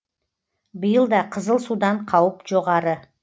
биыл да қызыл судан қауіп жоғары